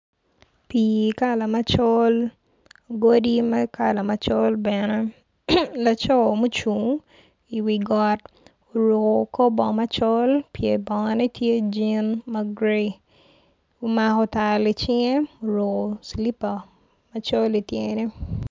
Pii kala macol godi kala macol bene laco mucung i wi got oruko kor bongo macol pye bongone tye jin ma grai omako tal i cinge oruko cilipa macol i tyene.